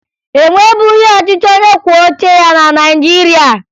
E nwebughi ọchịchị onyekwuoucheya na Naịjirịa